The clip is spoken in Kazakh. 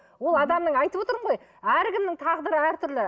ол адамның айтып отырмын ғой әркімнің тағдыры әртүрлі